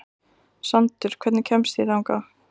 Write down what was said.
Sandur, hvernig kemst ég þangað?